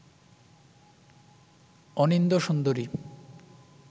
অনিন্দ্য সুন্দরী